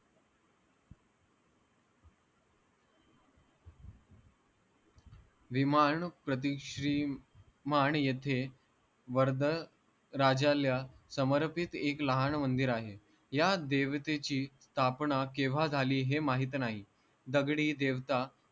विमाण प्रतिश्री मान येथे वर्द राजाल्या समर्पित एक लहाण मंदिर आहे या देवतेची स्थापणा केव्हा झाली हे माहित नाही दगडी देवता